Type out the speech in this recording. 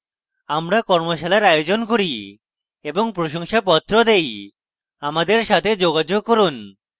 আমরা কর্মশালার আয়োজন করি এবং প্রশংসাপত্র দেই আমাদের সাথে যোগাযোগ করুন